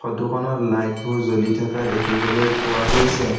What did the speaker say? Photo খনত light বোৰ জ্বলি থকা দেখিবলৈ পোৱা গৈছে।